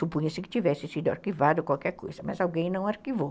Supunha-se que tivesse sido arquivado qualquer coisa, mas alguém não arquivou.